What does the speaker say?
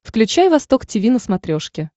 включай восток тиви на смотрешке